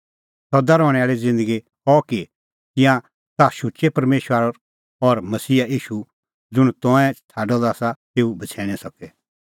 सदा रहणैं आल़ी ज़िन्दगी अह कि तिंयां ताह शुचै परमेशरा और मसीहा ईशू ज़ुंण तंऐं छ़ाडअ द आसा तेऊ बछ़ैणीं सके